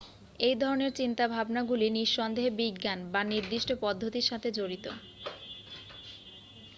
এই ধরণের চিন্তাভাবনাগুলি নি:সন্দেহে বিজ্ঞান বা নির্দিষ্ট পদ্ধতির সাথে জড়িত।